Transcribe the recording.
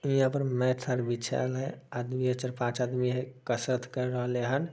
हीया पर मेट सब बिछल है । आदमी है चार-पांच आदमी है। कसरत सब केर रहल हेन।